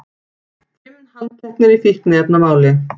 Fimm handteknir í fíkniefnamáli